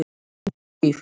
Sif